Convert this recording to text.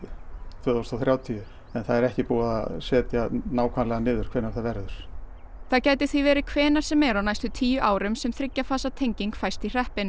tvö þúsund og þrjátíu en það er ekki búið að segja nákvæmlega hvenær það verður það gæti því verið hvenær sem er á næstu tíu árum sem þriggja fasa tenging fæst í hreppinn